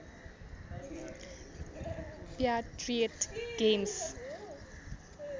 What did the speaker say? patriot games